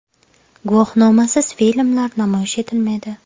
Guvohnomasiz filmlar namoyish etilmaydi.